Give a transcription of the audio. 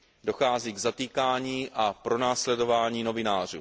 Dochází k zatýkání a pronásledování novinářů.